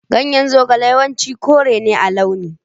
Ganyen zogale yawanci kore ne a launi.